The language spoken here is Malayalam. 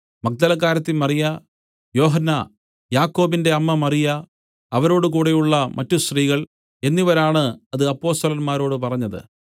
മഗ്ദലക്കാരത്തി മറിയ യോഹന്നാ യാക്കോബിന്റെ അമ്മ മറിയ അവരോടുകൂടെയുള്ള മറ്റു സ്ത്രീകൾ എന്നിവരാണ് അത് അപ്പൊസ്തലന്മാരോട് പറഞ്ഞത്